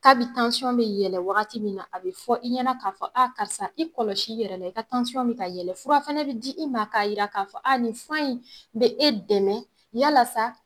Kabi bɛ yɛlɛ wagati min na a bɛ fɔ i ɲɛna k'a fɔ karisa i kɔlɔsi i yɛrɛ la ,i ka bɛ ka yɛlɛ fura fana bɛ di i ma k'a yira k'a fɔ ni fura in bɛ e dɛmɛ yalasa